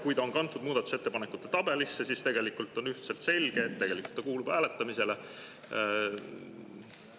Kui ta on kantud muudatusettepanekute tabelisse, siis on üheselt selge, et tegelikult ta kuulub hääletamisele.